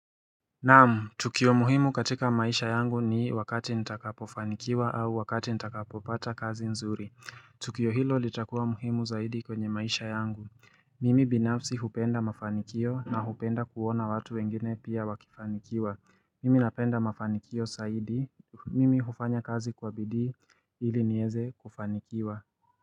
Namu, tukio muhimu katika maisha yangu ni wakati nitakapofanikiwa au wakati nitakapopata kazi nzuri. Tukio hilo litakua muhimu zaidi kwenye maisha yangu. Mimi binafsi hupenda mafanikio na hupenda kuona watu wengine pia wakifanikiwa. Mimi napenda mafanikio saidi. Mimi hufanya kazi kwa bidhii ili niweze kufanikiwa.